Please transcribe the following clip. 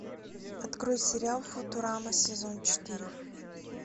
открой сериал футурама сезон четыре